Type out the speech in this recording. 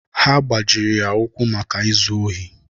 Ha gbajiri ya ụkwụ maka izu ohi.